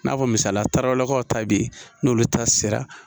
N'a fɔ misala taraw lakaw ta bɛ yen n'olu ta sera